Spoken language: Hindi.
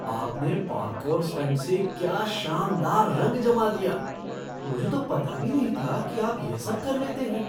आपने पार्कोर स्टंट से क्या शानदार रंग जमा दिया! मुझे तो पता भी नहीं था कि आप यह सब कर लेते हैं।